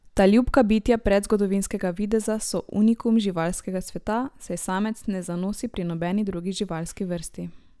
Ta ljubka bitja predzgodovinskega videza so unikum živalskega sveta, saj samec ne zanosi pri nobeni drugi živalski vrsti.